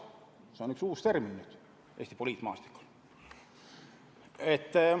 See on nüüd üks uus termin Eesti poliitmaastikul.